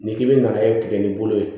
N'i k'i bɛ na i tigɛ ni bolo ye